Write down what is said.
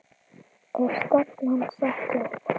Er stefnan sett upp?